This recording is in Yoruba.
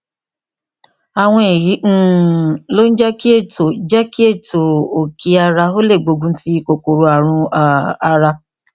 àwọn èyí um ló ń jẹ kí ètò jẹ kí ètò òkí ara ó lè gbógun ti kòkòrò ààrùn um ara